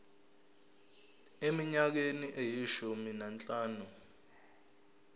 eminyakeni eyishumi nanhlanu